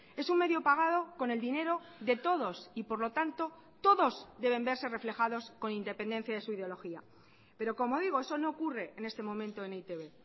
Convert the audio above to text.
es un medio pagado con el dinero de todos y por lo tanto todos deben verse reflejados con independencia de su ideología pero como digo eso no ocurre en este momento en e i te be